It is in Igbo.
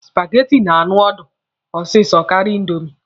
Supageti na-anụ ọdụ osisi karịa indomi.